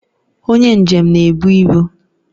Onye njem na-ebu ibu